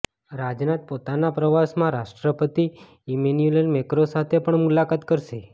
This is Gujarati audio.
રાજનાથ પોતાના પ્રવાસમાં રાષ્ટ્રપતિ ઈમેનુઅલ મેક્રો સાથે પણ મુલાકાત કરશે